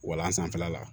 Walan sanfɛla la